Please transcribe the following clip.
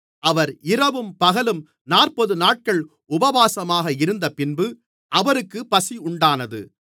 அவர் இரவும் பகலும் நாற்பதுநாட்கள் உபவாசமாக இருந்தபின்பு அவருக்குப் பசியுண்டானது